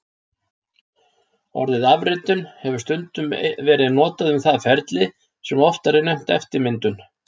Orðið afritun hefur stundum verið notað um það ferli sem oftar er nefnt eftirmyndun.